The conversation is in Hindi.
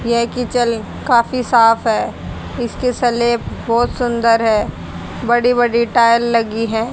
येह किचन काफी साफ है इसकी स्लैब बहोत सुंदर है बड़ी बड़ी टायल लगी है।